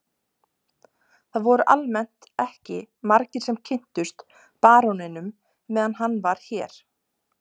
Það voru almennt ekki margir sem kynntust baróninum meðan hann var hér.